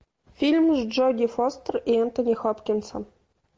фильм с джоди фостер и энтони хопкинсом